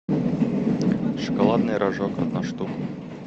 шоколадный рожок одна штука